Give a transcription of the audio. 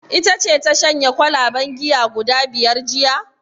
Ita ce ta shanye kwalaben giya guda biyar jiya?